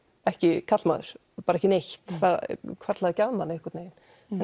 ekki karlmaður bara ekki neitt það hvarflaði ekki að manni einhvern veginn